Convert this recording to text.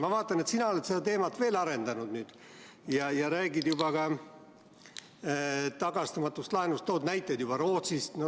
Ma vaatan, et sina oled sa seda teemat veel arendanud ja räägid juba ka tagastamatust laenust, tood näiteid Rootsist.